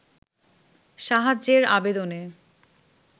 সাহায্যের আবেদনে